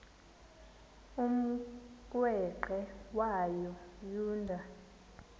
umrweqe wayo yoonda